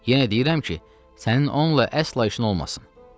“Yenə deyirəm ki, sənin onunla əsla işin olmasın.